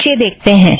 नीचे देखते हैं